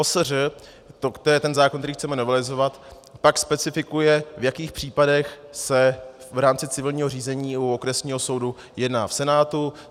OSŘ, to je ten zákon, který chceme novelizovat, pak specifikuje, v jakých případech se v rámci civilního řízení u okresních soudu jedná v senátu.